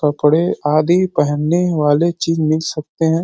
कपड़े आदि पहनने वाली चीज मिल सकते हैं।